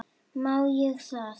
Má ég það?